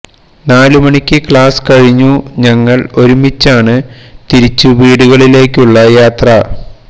നാലു മണിക്ക് ക്ലാസ് കഴിഞ്ഞു ഞങ്ങൾ ഒരുമിച്ചാണ് തിരിച്ചു വീടുകളിലേക്കുള്ള യാത്ര